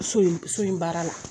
So in so in baara la